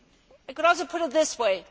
I could also put it this way.